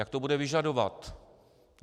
Jak to bude vyžadovat?